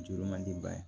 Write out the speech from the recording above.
Juru man di ba ye